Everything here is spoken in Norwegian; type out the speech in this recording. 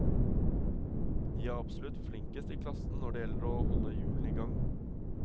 De er absolutt flinkest i klassen når det gjelder å holde hjulene i gang.